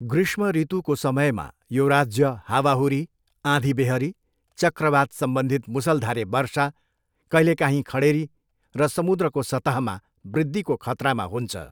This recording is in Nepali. ग्रीष्मऋतुको समयमा, यो राज्य हावाहुरी, आँधीबेहरी, चक्रवात सम्बन्धित मुसलधारे वर्षा, कहिलेकाहीँ खडेरी र समुद्रको सतहमा वृद्धिको खतरामा हुन्छ।